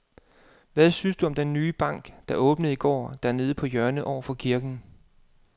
Hvad synes du om den nye bank, der åbnede i går dernede på hjørnet over for kirken?